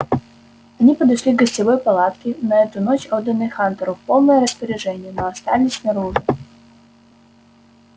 они подошли к гостевой палатке на эту ночь отданной хантеру в полное распоряжение но остались снаружи